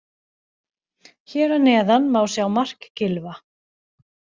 Hér að neðan má sjá mark Gylfa.